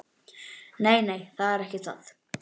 Nei, nei, það er ekki það.